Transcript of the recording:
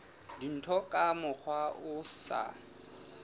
dintho ka mokgwa o sa